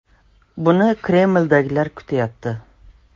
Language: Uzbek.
Buni Kremldagilar kutyapti.